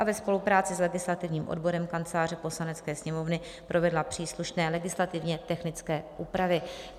b) ve spolupráci s legislativním odborem Kanceláře Poslanecké sněmovny provedla příslušné legislativně technické úpravy.